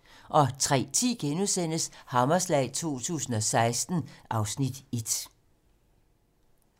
03:10: Hammerslag 2016 (Afs. 1)*